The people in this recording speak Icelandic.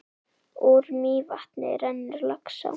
Úr Mývatni rennur Laxá.